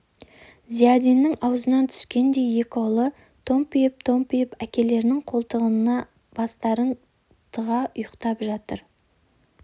зиядинның аузынан түскендей екі ұлы томпиып-томпиып әкелерінің қолтығына бастарын тыға ұйықтап жатыр